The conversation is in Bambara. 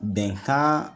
Bɛnkan